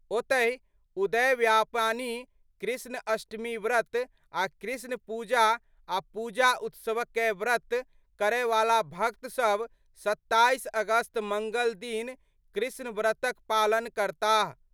ओतहि उदय व्यापानी कृष्ण अष्टमीव्रत आ कृष्ण पूजा आ पूजा उत्सव कए व्रत करय वाला भक्त सब 27 अगस्त मंगल दिन कृष्ण व्रत क पालन करताह।